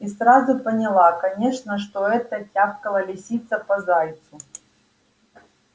и сразу поняла конечно что это тявкала лисица по зайцу